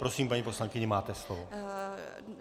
Prosím, paní poslankyně, máte slovo.